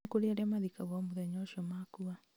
nĩ kũrĩ arĩa mathikagwo o mũthenya ũcio makua